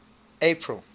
april